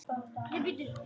Þar fann hún bónda sinn.